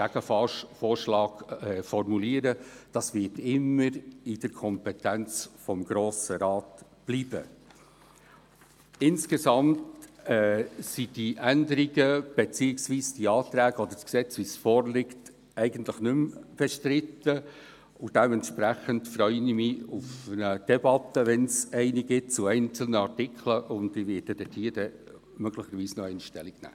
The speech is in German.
Wenn man die Wählbarkeit nicht mehr auf Gesetzesebene geregelt hat, sollte die Sache von der Staatskanzlei oder den beratenden Organen nicht komplizierter gemacht werden als nötig.